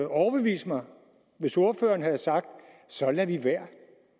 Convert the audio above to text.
overbevise mig hvis ordføreren havde sagt at så lader vi være